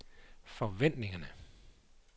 forventningerne